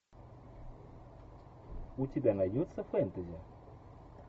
у тебя найдется фэнтези